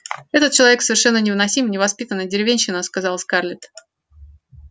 этот человек совершенно невыносим невоспитанная деревенщина сказала скарлетт